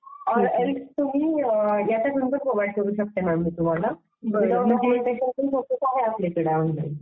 is not clear